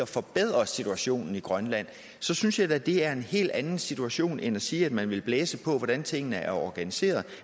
forbedre situationen i grønland så synes jeg da at det er en helt anden situation end at sige at man vil blæse på hvordan tingene er organiseret